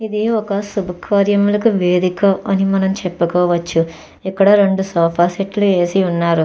ఇది ఒక శుభకార్యములకు వేదిక అని మనం చెప్పుకోవచ్చు. ఇక్కడ రెండు సోఫా సెట్లు వేసి ఉన్నారు.